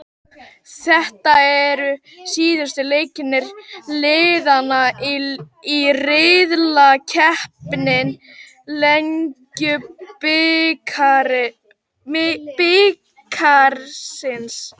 Þetta eru síðustu leikir liðanna í riðlakeppni Lengjubikarsins.